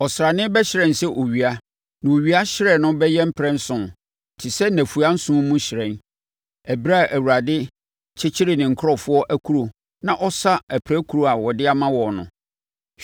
Ɔsrane bɛhyerɛn sɛ owia, na owia hyerɛn no bɛyɛ mprɛnson, te sɛ nnafua nson mu hyerɛn, ɛberɛ a Awurade kyekyere ne nkurɔfoɔ akuro na ɔsa apirakuro a ɔde ama wɔn no.